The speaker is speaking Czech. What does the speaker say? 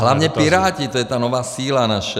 A hlavně Piráti, to je ta nová síla naše.